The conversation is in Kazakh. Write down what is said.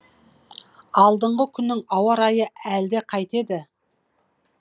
алдыңғы күннің ауа райы әлде қайтеді